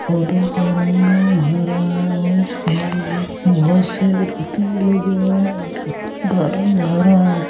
पौधों का रंग हरा और ।